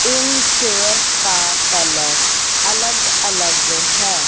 इन chairs का colour अलग अलग है।